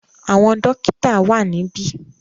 Àwọn dọ́kítá wà níbí.